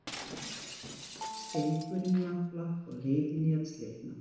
Strengurinn nafla á leiðinni að slitna.